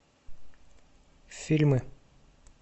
фильмы